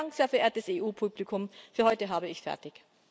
Vielen Dank, sehr geehrtes EU Publikum, für heute habe ich fertig.